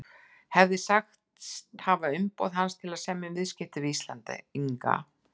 hefði sagst hafa umboð hans til að semja um viðskipti við Íslendinga.